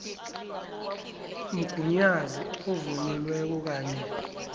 mgunyazi ovunyelweko kanye